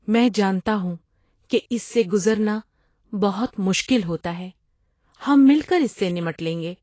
میں جانتا ہوں کہ اس سے گزرنا بہت مشکل ہوتا ہے! ہم مل کر اس سے نمٹ لیں گے۔